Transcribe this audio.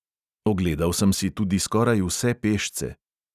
Ogledal sem si tudi skoraj vse pešce.